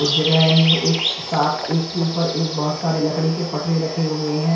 कुछ जगह में एक साथ एक के ऊपर एक बहुत सारे लकड़ी के पटरे रखे हुएहै।